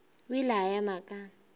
o ile a ema ka